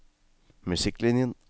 musikklinjen